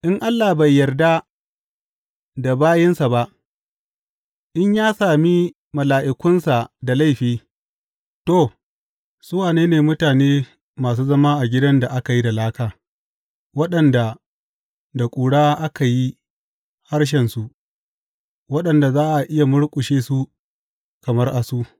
In Allah bai yarda da bayinsa ba, in ya sami mala’ikunsa da laifi, to, su wane ne mutane masu zama a gidan da aka yi da laka, waɗanda da ƙura aka yi harsashensu, waɗanda za a iya murƙushe su kamar asu!